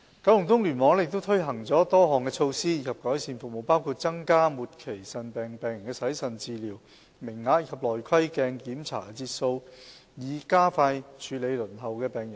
九龍東聯網亦推行了多項措施以改善服務，包括增加末期腎病病人的洗腎治療名額及內窺鏡檢查節數，以加快處理輪候的病人。